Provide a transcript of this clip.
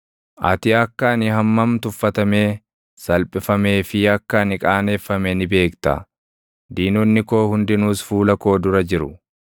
Ati akka ani hammam tuffatamee, salphifamee fi akka ani qaaneffame ni beekta; diinonni koo hundinuus fuula koo dura jiru.